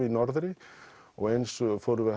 í norðri og eins fórum við